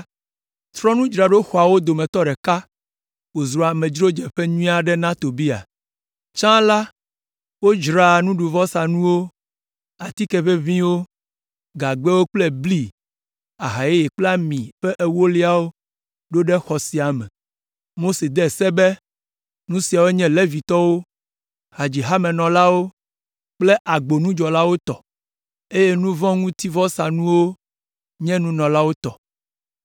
trɔ nudzraɖoxɔawo dometɔ ɖeka wòzu amedzrodzeƒe nyui aɖe na Tobia. Tsã la, wodzraa nuɖuvɔsanuwo, atike ʋeʋĩwo, gagbɛwo kple bli, aha yeye kple ami ƒe ewoliawo ɖo ɖe xɔ sia me. Mose de se be nu siawo nye Levitɔwo, hadzihamenɔlawo kple agbonudzɔlawo tɔ, eye nu vɔ̃ ŋuti vɔsanuwo nye nunɔlawo tɔ.